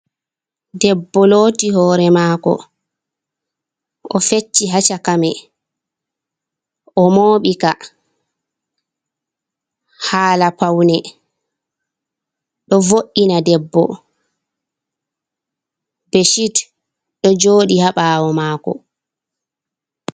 Ɗebbo looti hoore maako, o fecci haa shakamai o mooɓi ka haala paune, ɗo vo’ina ɗebbo, be shit ɗo jooɗii haa ɓaawo maako.